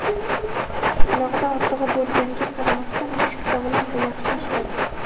qulog‘ida ortig‘i bo‘lganiga qaramasdan mushuk sog‘lom va yaxshi eshitadi.